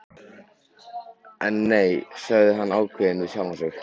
En nei, sagði hann ákveðinn við sjálfan sig.